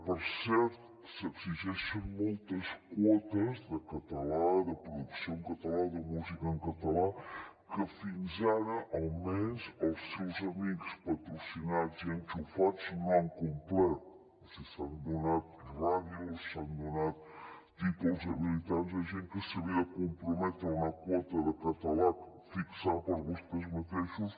per cert s’exigeixen moltes quotes de català de producció en català de música en català que fins ara almenys els seus amics patrocinats i enxufats no han complert o sigui s’han donat ràdios s’han donat títols habilitants a gent que s’havia de comprometre a una quota de català fixada per vostès mateixos